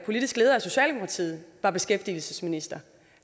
politiske leder af socialdemokratiet var beskæftigelsesminister